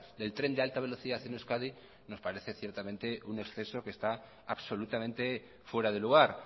del tren de alta velocidad en euskadi nos parece ciertamente un exceso que está absolutamente fuera de lugar